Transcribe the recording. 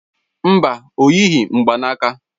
Mba, o yighị mgbaaka.